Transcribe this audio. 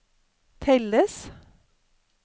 telles